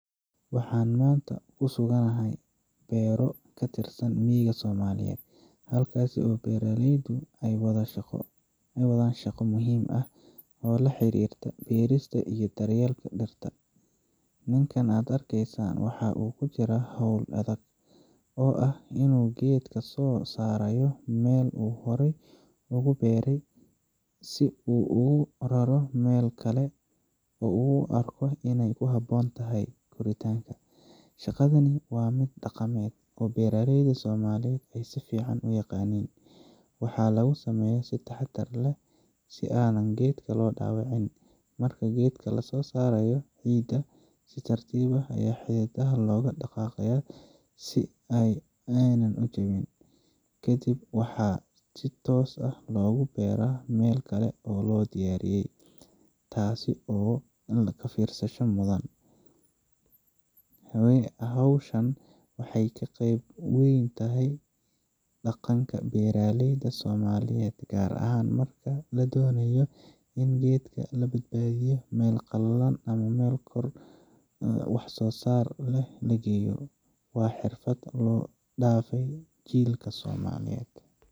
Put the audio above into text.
Waxaan maanta ku suganahay beero ka tirsan miyiga Soomaaliyeed, halkaas oo beeraleydu ay ka wadaan shaqo muhiim ah oo la xiriirta beerista iyo daryeelka dhirta. Ninkan aad arkaysaan waxa uu ku jiraa hawl adag oo ah in uu geed ka soo saarayo meel uu horay ugu beeri jiray si uu ugu raro meel kale oo uu u arko in ay ku habboon tahay koritaanka. Shaqadani waa mid dhaqameed oo beeraleyda Soomaaliyeed ay si fiican u yaqaaniin, waxaana lagu sameeyaa si taxaddar leh si aan geedka loo dhaawicin. Marka geedka laga soo saarayo ciidda, si tartiib ah ayaa xididdada loogu dhaqaaqaa si aanay u jabin. Ka dib, waxa si toos ah loogu beeraa meel kale oo la diyaariyey, taasoo laga fiirsasha mudan. Hawshan waxay qeyb weyn ka tahay dhaqanka beeraleyda Soomaaliyeed, gaar ahaan marka la doonayo in geedka laga badbaadiyo meel qalalan ama la kordhiyo wax soosaarkiisa. Waa xirfad la soo dhaafay jiilka somaliyeed.